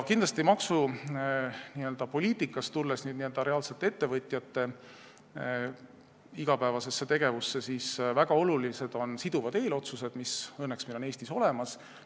Tulles maksupoliitika juurest reaalsete ettevõtjate igapäevase tegevuse juurde, tuleb öelda, et väga olulised on siduvad eelotsused, mis õnneks meil Eestis on olemas.